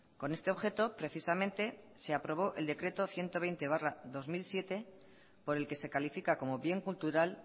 con este objeto precisamente se aprobó el decreto ciento veinte barra dos mil siete por el que se califica como bien cultural